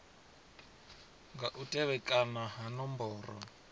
nga u tevhekana ha nomboro